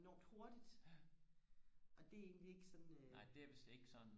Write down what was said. enormt hurtigt og det er egentlig ikke sådan øh